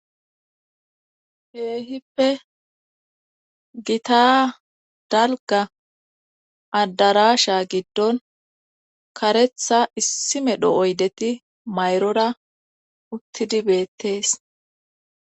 Keehippe gita dalga adarasha giddon karetha issimedho oydeti mayrora uttidi beettees